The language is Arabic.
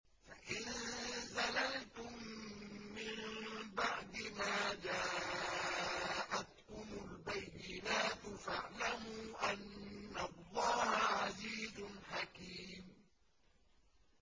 فَإِن زَلَلْتُم مِّن بَعْدِ مَا جَاءَتْكُمُ الْبَيِّنَاتُ فَاعْلَمُوا أَنَّ اللَّهَ عَزِيزٌ حَكِيمٌ